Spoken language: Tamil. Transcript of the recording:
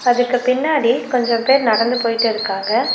அதுக்கு பின்னாடி கொஞ்சம் பேர் நடந்து போயிட்டு இருக்காங்க.